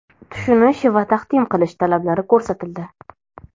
tushunish va taqdim qilish talablari ko‘rsatildi.